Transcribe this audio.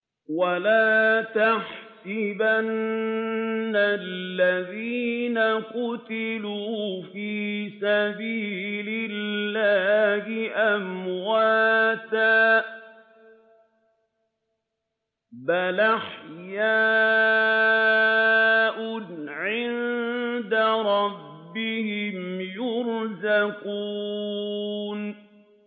وَلَا تَحْسَبَنَّ الَّذِينَ قُتِلُوا فِي سَبِيلِ اللَّهِ أَمْوَاتًا ۚ بَلْ أَحْيَاءٌ عِندَ رَبِّهِمْ يُرْزَقُونَ